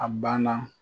A banna